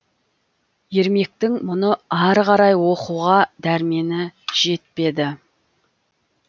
ермектің мұны ары қарай оқуға дәрмені жетпеді